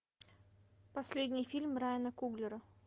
последний фильм райана куглера